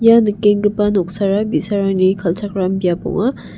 ia nikenggipa noksara bi·sarangni kal·chakram biap ong·a.